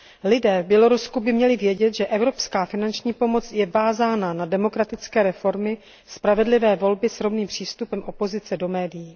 Lidé v Bělorusku by měli vědět, že evropská finanční pomoc je vázána na demokratické reformy, spravedlivé volby s rovným přístupem opozice do médií.